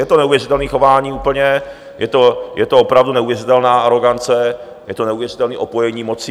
Je to neuvěřitelný chování úplně, je to opravdu neuvěřitelná arogance, je to neuvěřitelný opojení mocí.